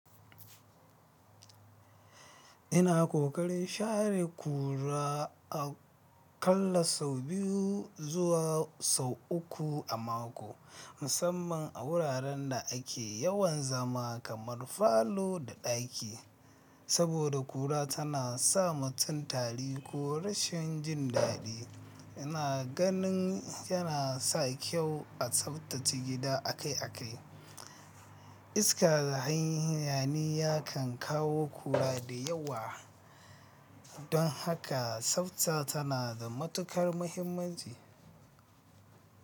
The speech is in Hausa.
Ina ƙoƙarin share kura a ƙalla sau biyu zuwa sau uku a mako, musamman a wuraren da ake yawan zama kamar falo da ɗaki. Saboda kura tana sa mutum tari ko rashin jin daɗi, ina ganin yana sa kyau a tsaftace gida akai-akai. Iska da hayaniya kan kawo kura da yawa, don haka tsafta tana da matuƙar muhimmanci.